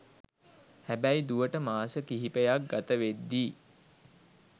හැබැයි දුවට මාස කිහිපයක් ගතවෙද්දී